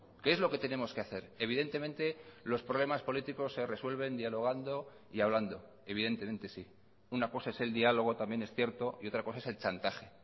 qué es lo que tenemos que hacer evidentemente los problemas políticos se resuelven dialogando y hablando evidentemente sí una cosa es el diálogo también es cierto y otra cosa es el chantaje